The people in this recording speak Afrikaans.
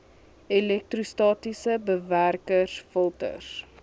elektrostatiese bewerkers filters